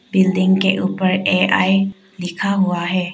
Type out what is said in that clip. Building के ऊपर A I लिखा हुआ है।